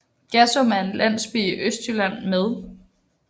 Gassum er en landsby i Østjylland med